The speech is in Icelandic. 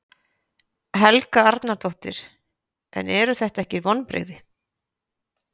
Helga Arnardóttir: En eru þetta ekki vonbrigði?